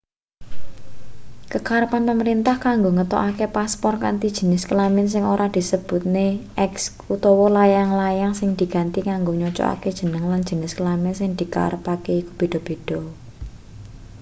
kekarepan pamrentah kanggo ngetokake paspor kanthi jenis kelamin sing ora disebutne x utawa layang-layang sing diganti kanggo nyocokake jeneng lan jenis kelamin sing dikarepake iku beda-beda